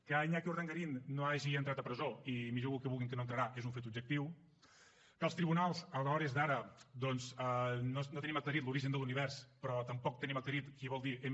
que iñaki urdangarin no hagi entrat a presó i m’hi jugo el que vulguin que no hi entrarà és un fet objectiu que els tribunals a hores d’ara doncs no tenim aclarit l’origen de l’univers però tampoc tenim aclarit què vol dir m